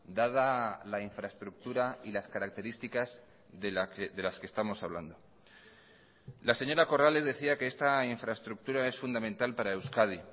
dada la infraestructura y las características de las que estamos hablando la señora corrales decía que esta infraestructura es fundamental para euskadi